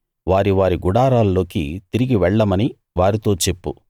వారి వారి గుడారాల్లోకి తిరిగి వెళ్ళమని వారితో చెప్పు